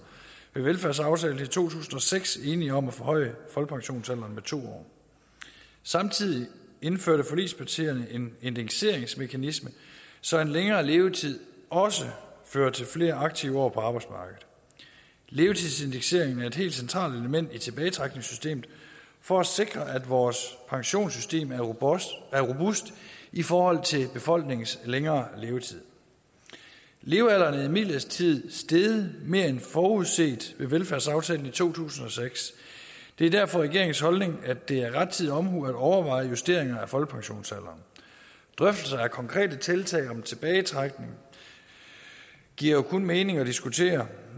ved velfærdsaftalen i to tusind og seks enige om at forhøje folkepensionsalderen med to år samtidig indførte forligspartierne en indekseringsmekanisme så en længere levetid også fører til flere aktive år på arbejdsmarkedet levetidsindekseringen er et helt centralt element i tilbagetrækningssystemet for at sikre at vores pensionssystem er robust i forhold til befolkningens længere levetid levealderen er imidlertid steget mere end forudset ved velfærdsaftalen i to tusind og seks det er derfor regeringens holdning at det er rettidig omhu at overveje justeringer af folkepensionsalderen drøftelser af konkrete tiltag om tilbagetrækning giver jo kun mening at diskutere